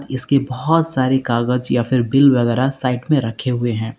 इसकी बहोत सारी कागज या फिर बिल वगैरह साइड में रखे हुए हैं।